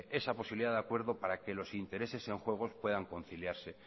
esa posibilidad de acuerdo para que los intereses en juego puedan conciliarse